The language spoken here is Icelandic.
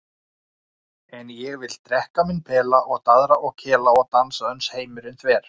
En ég vil drekka minn pela og daðra og kela og dansa uns heimurinn þver.